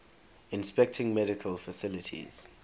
inspecting medical facilities